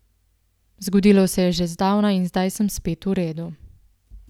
Zgodilo se je že zdavnaj in zdaj sem spet v redu.